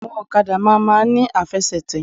Áwọn òkadà má máa n ní àfesètè